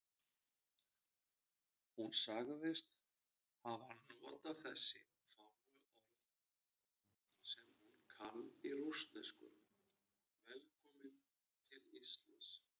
Hún sagðist hafa notað þessi fáu orð sem hún kann í rússnesku: Velkominn til Íslands.